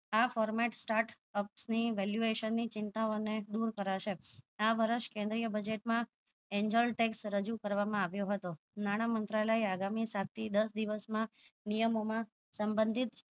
આ format start up ની valuation ની ચિંતા ઓ ને દુર કરે છે આ વર્ષ કેન્દ્રી budget માં angel text રજુ કરવામાં આવ્યો હતો નાણાં મંત્રાલય આગામી સાત થી દસ દિવસ માં નિયમો માં સમબીધ